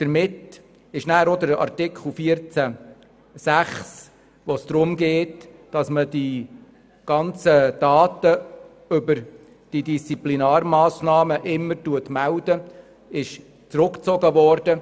Daher ist auch Artikel 14 Absatz 6(neu), in dem es darum geht, dass die Daten zu Disziplinarmassnahmen immer gemeldet werden, zurückgezogen worden.